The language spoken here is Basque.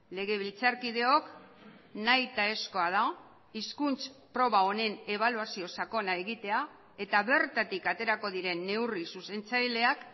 legebiltzarkideok nahitaezkoa da hizkuntz proba honen ebaluazio sakona egitea eta bertatik aterako diren neurri zuzentzaileak